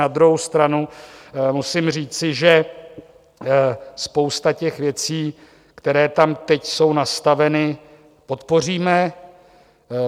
Na druhou stranu musím říci, že spoustu těch věcí, které tam teď jsou nastaveny, podpoříme.